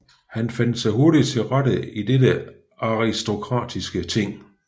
Han fandt sig hurtigt til rette i dette aristokratiske ting